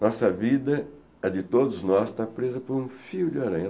Nossa vida, a de todos nós, está presa por um fio de aranha.